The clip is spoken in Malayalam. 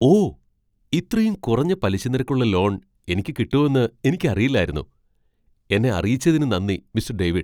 ഓ! ഇത്രയും കുറഞ്ഞ പലിശനിരക്കുള്ള ലോൺ എനിയ്ക്കു കിട്ടുമെന്ന് എനിക്കറിയില്ലായിരുന്നു. എന്നെ അറിയിച്ചതിന് നന്ദി, മിസ്റ്റർ ഡേവിഡ്.